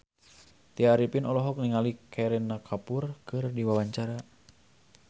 Tya Arifin olohok ningali Kareena Kapoor keur diwawancara